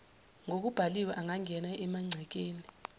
ngokubhaliwe angangena emangcekeni